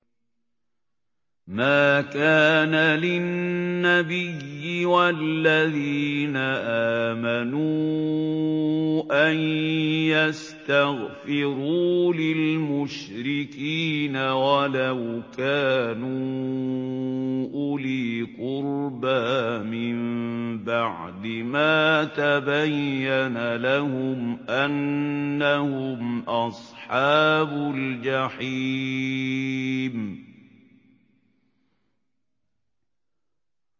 مَا كَانَ لِلنَّبِيِّ وَالَّذِينَ آمَنُوا أَن يَسْتَغْفِرُوا لِلْمُشْرِكِينَ وَلَوْ كَانُوا أُولِي قُرْبَىٰ مِن بَعْدِ مَا تَبَيَّنَ لَهُمْ أَنَّهُمْ أَصْحَابُ الْجَحِيمِ